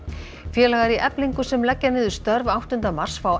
félagar í Eflingu sem leggja niður störf áttunda mars fá